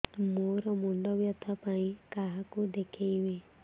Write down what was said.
ମୋର ମୁଣ୍ଡ ବ୍ୟଥା ପାଇଁ କାହାକୁ ଦେଖେଇବି